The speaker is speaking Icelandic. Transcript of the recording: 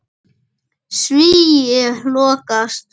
Svíi lokast.